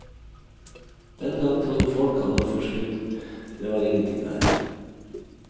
Den gang trodde folk han var forskrudd, det var ingenting der.